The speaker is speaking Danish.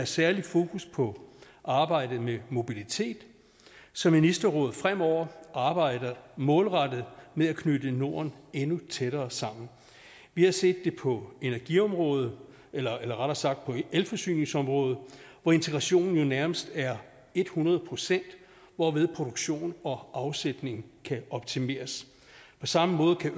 særlig fokus på arbejdet med mobilitet så ministerrådet fremover arbejder målrettet med at knytte norden endnu tættere sammen vi har set det på energiområdet eller eller rettere sagt på elforsyningsområdet hvor integrationen jo nærmest er et hundrede procent hvorved produktion og afsætning kan optimeres på samme måde kan